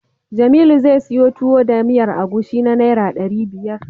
Jamilu zai siyo Tuwo da miyar agushi na Naira ɗari biyar.